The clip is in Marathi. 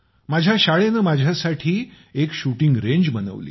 माझ्या शाळेने माझ्यासाठी एक शुटींग रेंज बनवली